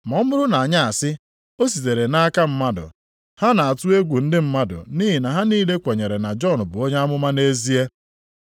Ma ọ bụrụ na anyị asị, ‘O sitere nʼaka mmadụ.’ ” (Ha na-atụ egwu ndị mmadụ, nʼihi na ha niile kwenyere na Jọn bụ onye amụma nʼezie.)